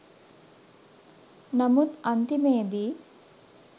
නමුත් අන්තිමේදි